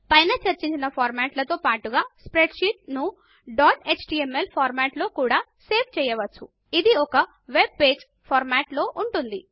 పైన చర్చించిన ఫార్మాట్ లతో పాటుగా స్ప్రెడ్ షీట్ ను డాట్ ఎచ్టీఎంఎల్ ఫార్మాట్ లో కూడా సేవ్ చేయవచ్చు ఇది ఒక వెబ్ పేజ్ ఫార్మాట్ లో ఉంటుంది